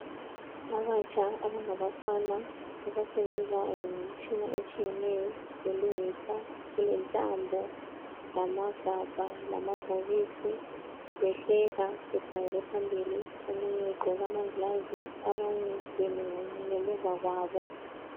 Abatsha abanga fana abasebenza ngemtshina etshiyeneyo belungisa kulentambo lamagabha lamabhokisi behleka bekhangele phambili. Omunye egqoke amangilazi abanye bemile ngamuva kwabo.